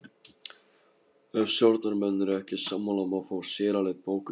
Ef stjórnarmenn eru ekki sammála má fá sérálit bókuð.